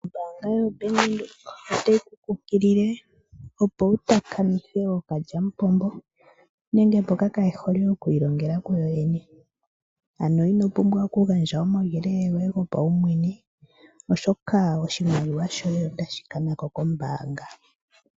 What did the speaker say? Ombaanga yo Bank Windhoek otayi kunkilile opo wu takamithe ookalyamupombo nenge mbokya kaye hole oku ilongela ku yoyene. Ano ino pumbwa okugandja omauyelele goye gopaumwene, oshoka oshimaliwa shoye otashi kana ko kombaanga.